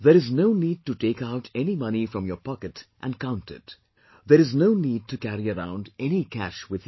There is no need to take out any money from your pocket and count it; there is no need to carry around any cash with you